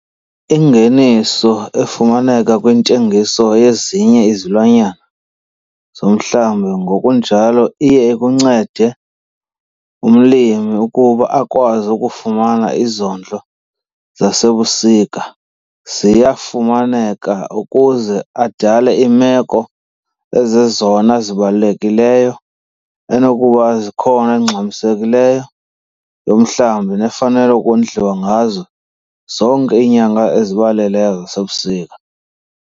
Ingeniso efumaneke kwintengiso yezinye izilwanyana zomhlambi ngokunjalo iye ikuncede umlimi ukuba akwazi ukufumana izondlo zasebusika ziyafumaneka ukuze adale iimeko ezizezona zibalulekileyo enokuba zikhona ezingxamsekileyo yomhlambi nefanele ukondliwa ngazo zonke iinyanga ezibaleleyo zasebusika.